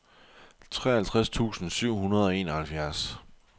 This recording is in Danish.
treoghalvtreds tusind syv hundrede og enoghalvfjerds